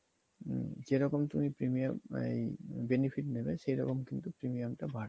আ~ যেরকম তুমি premium ওই benefit নিবা সেরকম কিন্তু premium টা বাড়বে